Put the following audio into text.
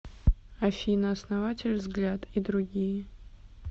афина основатель взгляд и другие